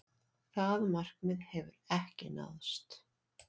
Það markmið hefur ekki náðst.